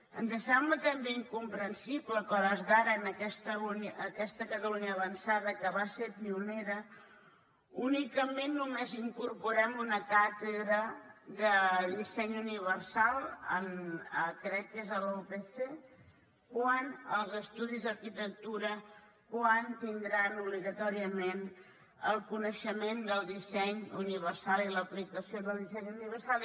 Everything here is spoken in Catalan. ens sembla també incomprensible que a hores d’ara en aquesta catalunya avançada que va ser pionera únicament només incorporem una càtedra de disseny universal crec que és a la upc quan els estudis d’arquitectura tindran obligatòriament el coneixement del disseny universal i l’aplicació del disseny universal